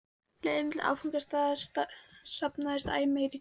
leiðinni milli áfangastaða safnast æ meira í töskuna.